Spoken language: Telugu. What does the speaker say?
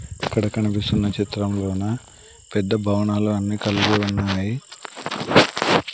ఇక్కడ కనిపిస్తున్న చిత్రంలోన పెద్ద భవనాలు అన్నీ కలిగి ఉన్నాయి